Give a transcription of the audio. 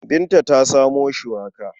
Binta ta samo shuwaka.